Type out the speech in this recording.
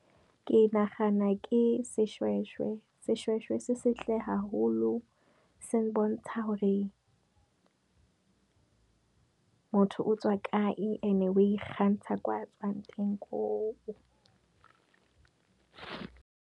Ke nagana ke seshweshwe, seshweshwe se setle haholo, se bontsha gore motho o tswa kae ene o ikgantsha kwa tswang teng.